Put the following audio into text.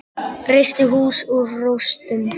Reisti hús úr rústum.